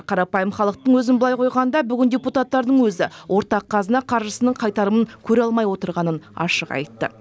қарапайым халықтың өзін былай қойғанда бүгін депутаттардың өзі ортақ қазына қаржысының қайтарымын көре алмай отырғанын ашық айтты